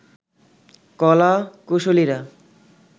কলা কুশলীরা